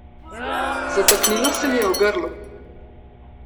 Zataknilo se mi je v grlu.